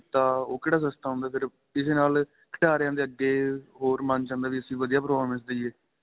ਦਿੱਤਾ ਉਹ ਕਿਹੜਾ ਸੱਸ਼ਤਾਂ ਹੁੰਦਾ ਸਿਰਫ਼ ਕਿਸੇ ਨਾਲ ਖਿਡਾਰੀਆਂ ਦੇ ਅੱਗੇ ਹੋਰ ਮੰਨ ਚ ਆਉਦਾ ਵਧੀਆ performance ਦੇਈਦੇ